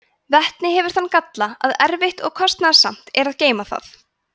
vetni hefur þann galla að erfitt og kostnaðarsamt er að geyma það